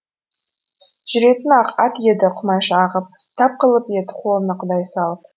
жүретін ақ ат еді құмайша ағып тап қылып ед қолына құдай салып